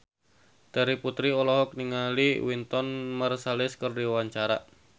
Terry Putri olohok ningali Wynton Marsalis keur diwawancara